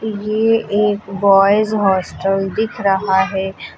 ये एक boys hostel दिख रहा है।